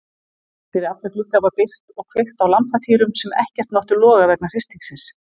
Fyrir alla glugga var byrgt og kveikt á lampatýrum sem ekkert máttu loga vegna hristingsins.